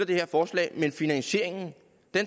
det her forslag men finansieringen